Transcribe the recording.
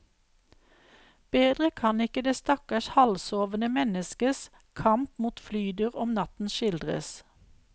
Bedre kan ikke det stakkars halvsovende menneskes kamp mot flydur om natten skildres.